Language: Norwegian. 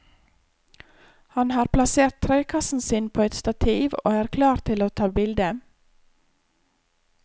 Han har plassert trekassen sin på et stativ og er klar til å ta bilde.